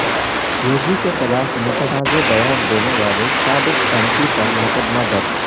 یوگی کے خلاف متنازعہ بیان دینے والے سابق ایم پی پر مقدمہ درج